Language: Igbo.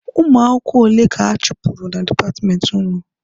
Ụmụ akwụkwọ ole ka a chụpụrụ na dipatmenti ahụ?